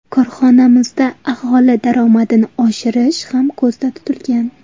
Korxonamizda aholi daromadini oshirish ham ko‘zda tutilgan.